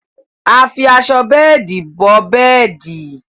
À fí àṣọ bẹẹ̀dí bọ̀ bẹẹ̀dí.